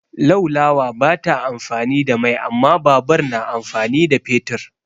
Laulawa ba ta amfani da mai amma babur na amfani da fetur.